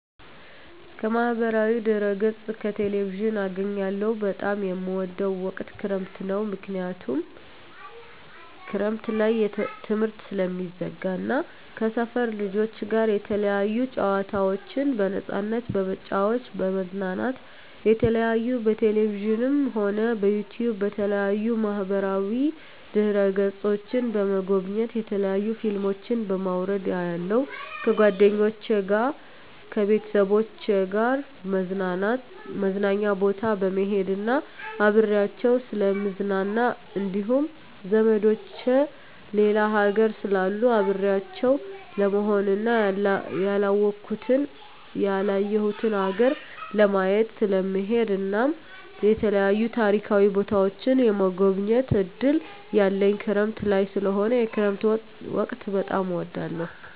ከማህበራዊ ድህረገፅ ከቴሌቪዥን አገኛለሁ በጣም የምወደዉ ወቅት ክረምት ነዉ ምክንያቱም ክረምት ላይ ትምህርት ስለሚዘጋ እና ከሰፈር ልጆች ጋር የተለያዩ ጨዋታዎችን በነፃነት በመጫወት በመዝናናት የተለያዩ በቴሌቪዥንም ሆነ በዩቱዩብ በተለያዩ ማህበራዋ ድህረ ገፆችን በመጎብኘት የተለያዩ ፊልሞችን በማዉረድ አያለሁ ከጓደኞቸ ጋር ከቤተሰቦቸ ጋር መዝናኛ ቦታ በመሄድና አብሬያቸዉ ስለምዝናና እንዲሁም ዘመዶቸ ሌላ ሀገር ስላሉ አብሬያቸው ለመሆንና ያላወኩትን ያላየሁትን ሀገር ለማየት ስለምሄድ እናም የተለያዩ ታሪካዊ ቦታዎችን የመጎብኘት እድል ያለኝ ክረምት ላይ ስለሆነ የክረምት ወቅት በጣም እወዳለሁ